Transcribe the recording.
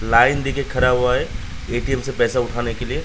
Line देखिये खड़ा हुआ है ए.टी.एम से पैसा उठाने के लिए।